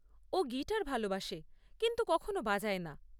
ও guitar ভালোবাসে কিন্তু কখনো বাজায় না।